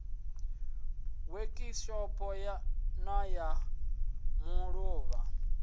wekhishopho na ma ḓ uvha